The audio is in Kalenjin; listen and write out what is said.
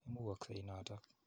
Imugoksei notok.